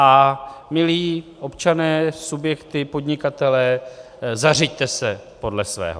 A milí občané, subjekty, podnikatelé, zařiďte se podle svého.